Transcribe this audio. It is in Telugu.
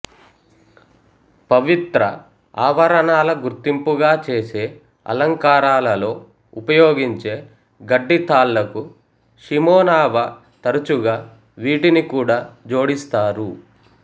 పవిత్ర ఆవరణాల గుర్తింపుగా చేసే అలంకారాలలో ఉపయోగించే గడ్డి తాళ్లకు షిమెనావా తరచుగా వీటిని కూడా జోడిస్తారు